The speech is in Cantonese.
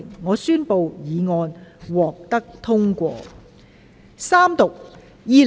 我宣布議案獲得通過。